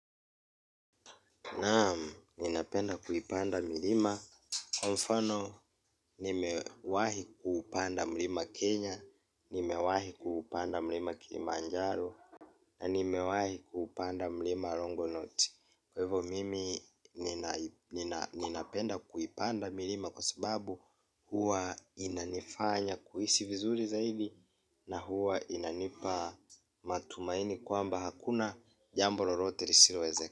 Naam, ninapenda kuipanda milima, kwa mfano nimewahi kuupanda mlima Kenya. Nimewahi kuupanda mlima Kilimanjaro. Na nimewahi kuupanda mlima Longonot. Kwa hivyo mimi ninapenda kuipanda milima. Kwa sababu huwa inanifanya kuhisi vizuri zaidi. Na huwa inanipa matumaini kwamba hakuna jambo lolote lisilowezekana.